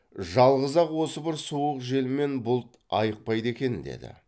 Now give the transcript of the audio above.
жалғыз ақ осы бір суық жел мен бұлт айықпайды екен деді